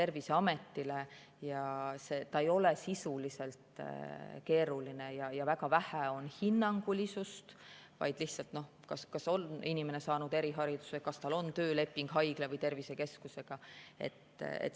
See ei ole sisuliselt keeruline ja väga vähe on hinnangulisust, lihtsalt, kas inimene on saanud erihariduse, kas tal on tööleping haigla või tervisekeskusega.